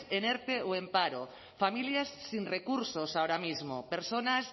en erte o en paro familias sin recursos ahora mismo personas